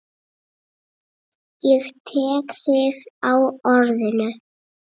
Ég tek þig á orðinu!